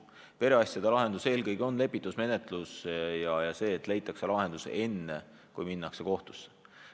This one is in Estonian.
Perekonnaasjade lahendus on eelkõige lepitusmenetlus ja see, et lahendus leitakse enne, kui minnakse kohtusse.